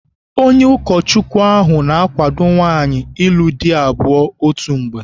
Onye ụkọchukwu ahụ na-akwado nwaanyị ịlụ di abụọ otu mgbe.